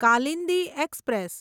Kalindi express